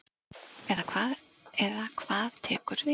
Eða hvað tekur við.